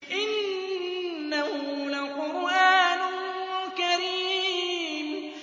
إِنَّهُ لَقُرْآنٌ كَرِيمٌ